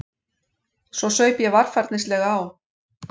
Svo saup ég varfærnislega á.